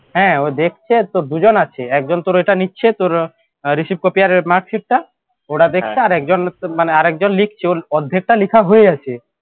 হ্যাঁ ওই দেখছে আর দুজন আছে একজন তোর এটা নিচ্ছে তোর receipt copy আর mark sheet টা ওরা দেখছে আর একজন মানে আরেকজন লিখছে ওর অর্ধেকটা লেখা হয়ে আছে